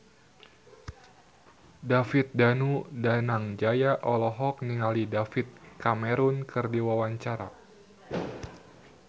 David Danu Danangjaya olohok ningali David Cameron keur diwawancara